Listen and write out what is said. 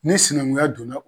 Ni sinankunya donna